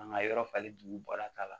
An ka yɔrɔ falen dugu bɔra ta la